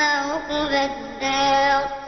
عُقْبَى الدَّارِ